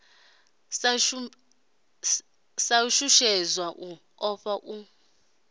sa shushedzwa u ofha u